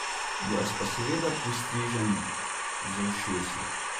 Jaz pa seveda pristrižem z ušesi.